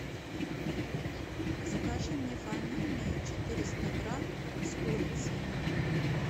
закажи мне фамильные четыреста грамм с курицей